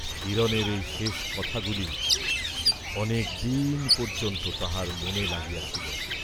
হিরণের এই শেষ কথা গুলি অনেকদিন পর্য্যন্ত তাঁহার মনে লাগিয়া ছিল।